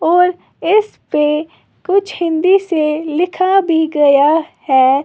और इस पे कुछ हिंदी से लिखा भी गया है।